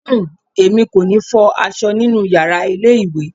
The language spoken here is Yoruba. Uhm, èmi kò ní fọ aṣọ nínú yàrá ilé ìwẹ̀.